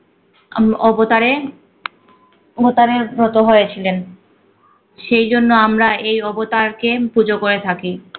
আম অবতারে অবতারে ব্রত হয়েছিলেন। সেই জন্য আমরা এই অবতারকে পুজো করে থাকি।